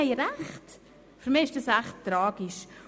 Für mich ist das echt tragisch.